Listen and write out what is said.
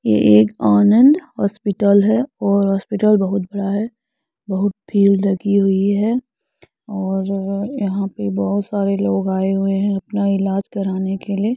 ये एक आनंद हॉस्पिटल है और हॉस्पिटल बहुत बड़ा है। बहुत भीड़ लगी हुई है और अ यहांँ पे बहोत सारे लोग आये हुए हैं अपना इलाज कराने के लिए।